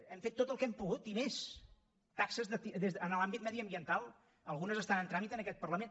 hem fet tot el que hem pogut i més taxes en l’àmbit mediambiental algunes estan en tràmit en aquest parlament